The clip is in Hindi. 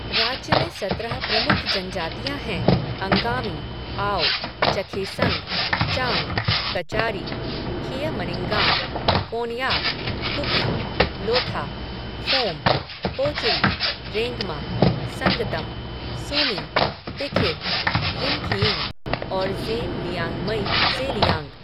राज्य में सत्रह प्रमुख जनजातियाँ हैं अंगामी, आओ, चखेसंग, चांग, कचारी, खियमनिंगान, कोनयाक, कुकी, लोथा, फोम, पोचुरी, रेंगमा, संगतम, सूमी, तिखिर, यिमखियुंग और ज़ेम लियांगमई ज़ेलियांग ।